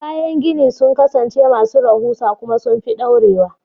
Kayan gini sun kasance masu rahusa kuma sun fi dorewa.